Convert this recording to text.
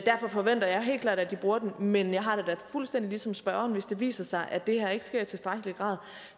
derfor forventer jeg helt klart at de bruger den men jeg har det da fuldstændig ligesom spørgeren at hvis det viser sig at det her ikke sker i tilstrækkelig grad